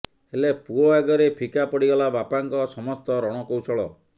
ହେଲେ ପୁଅ ଆଗରେ ଫିକା ପଡିଗଲା ବାପାଙ୍କ ସମସ୍ତ ରଣକୌଶଳ